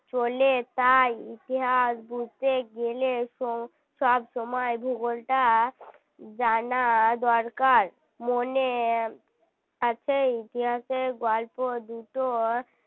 চলে তাই ইতিহাস বুঝতে গেলে তো সব সময় ভূগোলটা জানা দরকার মনে আছে ইতিহাসের গল্প দুটোর